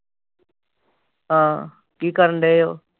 ਹਾਂ ਕੀ ਕਰਨ ਦਏ ਓ